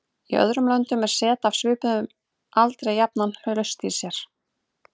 Í öðrum löndum er set af svipuðum aldri jafnan laust í sér.